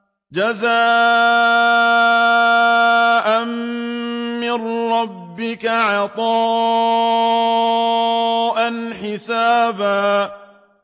جَزَاءً مِّن رَّبِّكَ عَطَاءً حِسَابًا